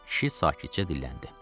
Kişi sakitcə dilləndi.